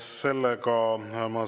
Suur tänu!